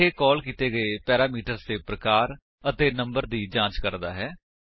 ਇਹ ਕਾਲ ਕੀਤੇ ਗਏ ਪੈਰਾਮੀਟਰ ਦੇ ਪ੍ਰਕਾਰ ਅਤੇ ਨੰਬਰ ਦੀ ਜਾਂਚ ਕਰਦਾ ਹੈ